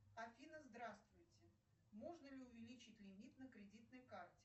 афина здравствуйте можно ли увеличить лимит на кредитной карте